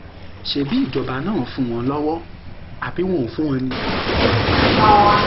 ṣebí ìjọba náà ń fún wọn lọwọ àbí wọn ò fún wọn ni